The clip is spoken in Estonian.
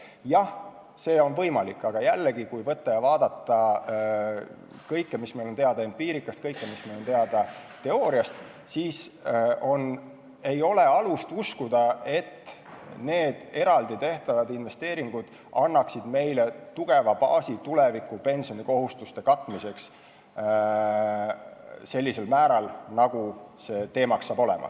Jah, see on võimalik, aga jällegi, kui vaadata kõike seda, mis meil on teada empiirikast ja teooriast, siis ei ole alust uskuda, et eraldi tehtavad investeeringud annaksid meile tugeva baasi tulevikupensioni kohustuste katmiseks vajalikul määral.